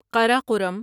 Karakoram